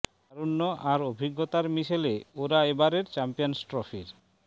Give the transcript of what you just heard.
তারুণ্য আর অভিজ্ঞতার মিশেলে ওরা এ বারের চ্যাম্পিয়ন্স ট্রফির